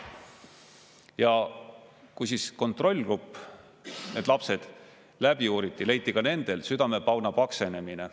Ja kui kontrollgrupp, need lapsed, läbi uuriti, leiti ka nendel südamepauna paksenemine.